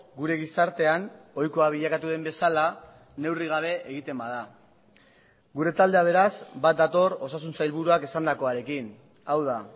gure gizartean ohikoa bilakatu den bezala neurri gabe egiten bada gure taldea beraz bat dator osasun sailburuak esandakoarekin hau da